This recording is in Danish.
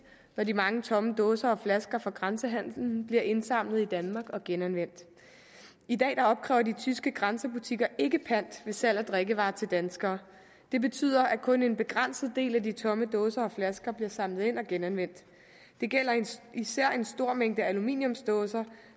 når de mange tomme dåser og flasker fra grænsehandelen bliver indsamlet i danmark og genanvendt i dag opkræver de tyske grænsebutikker ikke pant ved salg af drikkevarer til danskere det betyder at kun en begrænset del af de tomme dåser og flasker bliver samlet ind og genanvendt det gælder især en stor mængde aluminiumsdåser